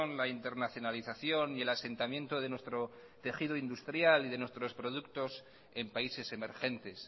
la internacionalización y el asentamiento de nuestro tejido industrial y de nuestros productos en países emergentes